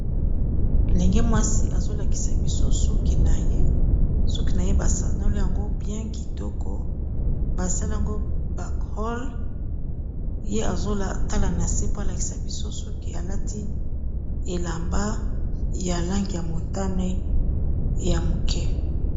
ndenge mwasi azolakisa biso suki na ye suki na ye basanole yango bien kitoko basalaango backhall ye azotalana se po alakisa biso suki alati elamba ya langi ya motane ya moke